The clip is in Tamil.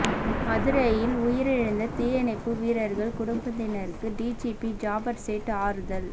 மதுரையில் உயிரிழந்த தீயணைப்பு வீரர்கள் குடும்பத்தினருக்கு டிஜிபி ஜாபர் சேட் ஆறுதல்